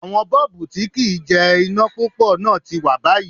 Àwọn Bọ́ọ̀bú tí kì ń jẹ iná púpọ̀ náà ti wón báyìí.